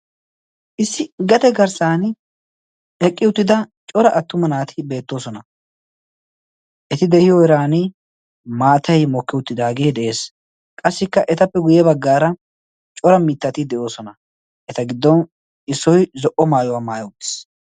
issi gate garssan eqqi uttida cora attuma naati beettoosona eti de'iyo eran maatay mokke uttidaagee de'ees qassikka etappe guyye baggaara cora mittati de'oosona eta giddon issoi zo"o maayuwaa maaya uttiis.